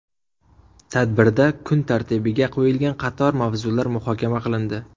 Tadbirda kun tartibiga qo‘yilgan qator mavzular muhokama qilindi.